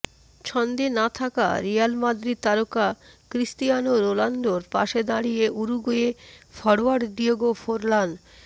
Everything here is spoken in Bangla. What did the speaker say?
ছন্দে না থাকা রিয়াল মাদ্রিদ তারকা ক্রিস্তিয়ানো রোনালদোর পাশে দাঁড়িয়ে উরুগুয়ে ফরোয়ার্ড ডিয়েগো ফোরলান